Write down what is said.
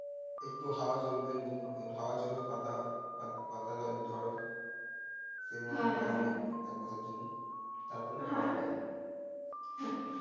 একটু হাওয়া জ্বলবে লু হওয়া চলবে পাতা পাতা ঝরে এক মাসের জন্য